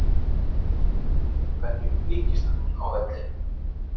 En hverjum líkist hann á vellinum?